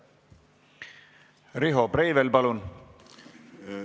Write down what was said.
Riho Breivel, palun!